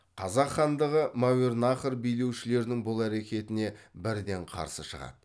қазақ хандығы мәуереннахр билеушілерінің бұл әрекетіне бірден қарсы шығады